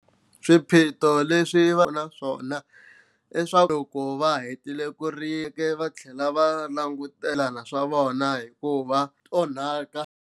Swiphiqo leswi va nga na swona i swa ku loko va hetile ku rima va tlhela va langutela na swimilana swa vona hikuva swi nga onhaka.